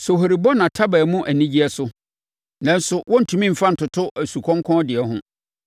“Sohori bɔ nʼataban mu anigyeɛ so, nanso wɔntumi mfa ntoto asukɔnkɔn deɛ ho.